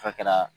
Fɔ kɛra